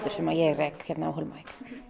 sem ég rek hérna á Hólmavík